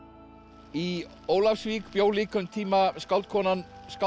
í Ólafsvík bjó líka um tíma skáldkonan skáld